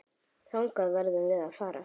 Þangað verðum við að fara.